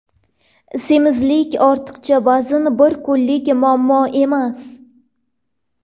Semizlik, ortiqcha vazn bir kunlik muammo emas.